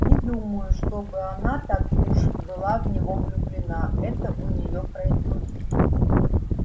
не думаю чтобы она так уж была в него влюблена это у неё пройдёт